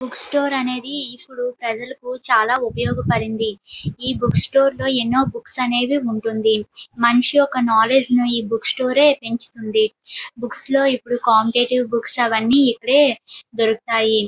Book store అనేది ప్రజలకు చాలు ఉపయోగపడింది. ఈ బుక్ స్టోర్ లో ఎన్నో బుక్స్ అనేది ఉంటుంది. మనిషి యొక్క నాలెడ్జ్ ని ఈ బుక్స్టో రే పెంచుతుంది. ఇప్పుడు కాంపిటేటివ్ బుక్స్ అనేవి ఈ బుక్ స్టోర్ లోనే దొరుకుతాయి.